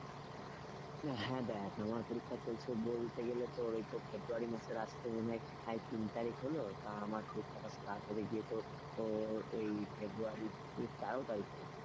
হ্যাঁ দেখ আমার পরীক্ষা চলছে বলতে গেলে তোর ওই তো ফেব্রুয়ারি মাসের আজ তো মনে হয় আজ তিন তারিখ হল তা আমার পরীক্ষাটা start হলো গিয়ে তোর ওই ফেব্রুয়ারি তেরো তারিখ থেকে।